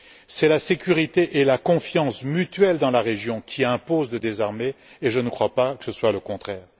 C'est la sécurité et la confiance mutuelle dans la région qui imposent de désarmer et je ne crois pas que ce soit le contraire.